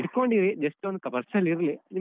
ಹಿಡ್ಕೊಂಡಿರಿ just ಒಂದ್ purse ಲ್ಲಿ ನಿಮ್ಗೆ.